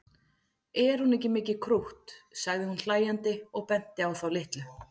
Er hún ekki mikið krútt sagði hún hlæjandi og benti á þá litlu.